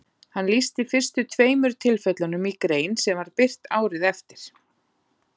hann lýsti fyrstu tveimur tilfellunum í grein sem var birt árið eftir